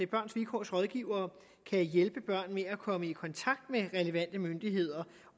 børns vilkårs rådgivere kan hjælpe børn med at komme i kontakt med relevante myndigheder